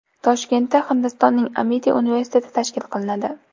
Toshkentda Hindistonning Amiti universiteti tashkil qilinadi.